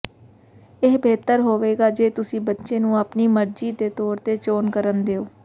ਇਹ ਬਿਹਤਰ ਹੋਵੇਗਾ ਜੇ ਤੁਸੀਂ ਬੱਚੇ ਨੂੰ ਆਪਣੀ ਮਰਜੀ ਦੇ ਤੌਰ ਤੇ ਚੋਣ ਕਰਨ ਦਿਉ